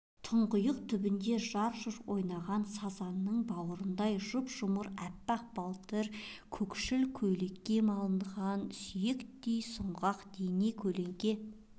тұңғиық түбінде жарқ-жұрқ ойнаған сазанның бауырындай жұп-жұмыр әппақ балтыр көкшіл көйлекке малынған сүйріктей сұңғақ дене көлеңке